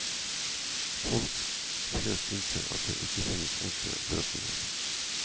Folk flest innser at det ikke finnes enkle løsninger.